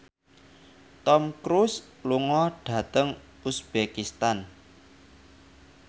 Tom Cruise lunga dhateng uzbekistan